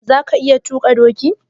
Za ka iya tuƙa doki?